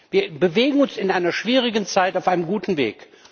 Wir bewegen uns in einer schwierigen Zeit auf einem guten Weg.